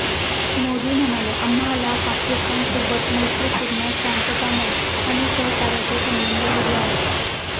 मोदी म्हणाले, आम्हाला पाकिस्तानसोबत मैत्रीपूर्ण, शांततामय आणि सहकार्याचे संबध हवे आहेत.